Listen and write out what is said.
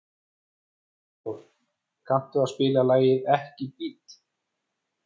Freyþór, kanntu að spila lagið „Ekki bíl“?